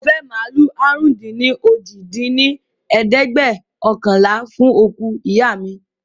Mo fẹ́ màálù àrún-dín-ní-ojì dín ní ẹ̀ẹ́dẹ́gbẹ́ọ̀kànlá fún òkú ìyá mi